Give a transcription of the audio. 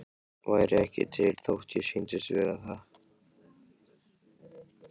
Væri ekki til þótt ég sýndist vera það.